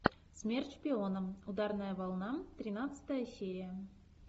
смерть шпионам ударная волна тринадцатая серия